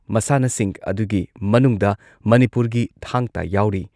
ꯃꯁꯥꯟꯅꯁꯤꯡ ꯑꯗꯨꯒꯤ ꯃꯅꯨꯡꯗ ꯃꯅꯤꯄꯨꯔꯒꯤ ꯊꯥꯡꯇꯥ ꯌꯥꯎꯔꯤ ꯫